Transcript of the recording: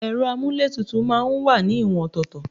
Ero amuletutu wá ní ìwọ̀n ọ̀tọ̀ọ̀tọ̀